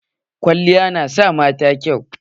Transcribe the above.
Kwalliya na sa mata kyau.